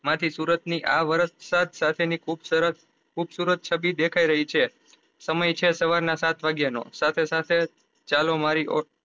માં થી સુરત ની આ વર્ષ સાથ સાથે ની ખુબ સરસ ખુબસુરત છબી દેખાઈ રહી છે સમય છે સાવર ના સાત વાગ્યા નો